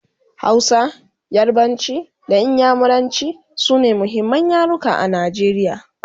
Hausa, yarbanci da inyamuranci sune muhimman yaruka a Najeriya